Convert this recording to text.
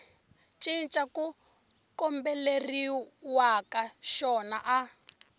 cinca ku kombeleriwaka xona a